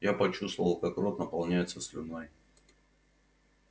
я почувствовал как рот наполняется слюной